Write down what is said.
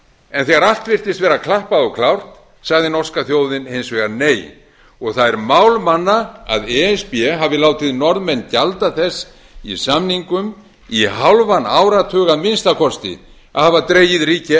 en þegar allt virtist vera klappað og klárt sagði norska þjóðin hins vegar nei það er mál manna að e s b hafi látið norðmenn gjalda þess í samningum í hálfan áratug að minnsta kosti að alla dregið ríki